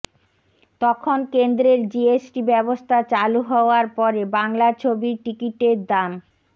তখন কেন্দ্রের জিএসটি ব্যবস্থা চালু হওয়ার পরে বাংলা ছবির টিকিটের দাম